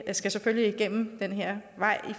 skal selvfølgelig igennem den her vej med